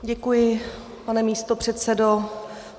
Děkuji, pane místopředsedo.